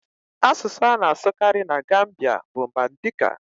Asụsụ a na-asụkarị na Gambia bụ Mandika.